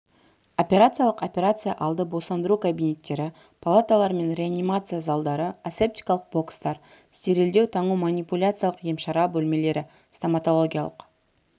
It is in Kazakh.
операциялық операция алды босандыру кабинеттері палаталар мен реанимация залдары асептикалық бокстар стерильдеу таңу манипуляциялық емшара бөлмелері стоматологиялық